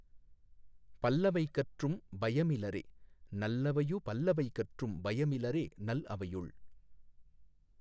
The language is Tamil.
பல்லவை கற்றும் பயமிலரே நல்லவையு பல்லவை கற்றும் பயம் இலரே நல் அவையுள்